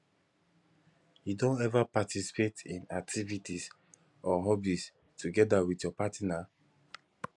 you don ever participate in activities or hobbies together with your partner